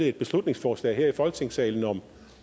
et beslutningsforslag her i folketingssalen om